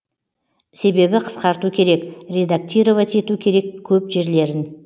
себебі қысқарту керек редактировать ету керек көп жерлерін